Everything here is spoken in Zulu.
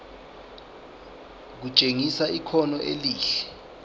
kutshengisa ikhono elihle